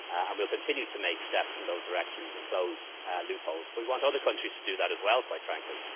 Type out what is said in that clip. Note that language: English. year. We'll continue to make steps in those directions and close loopholes, but we want other countries to do that as well, quite frankly.